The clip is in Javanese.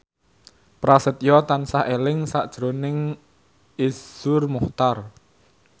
Prasetyo tansah eling sakjroning Iszur Muchtar